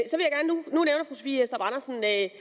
at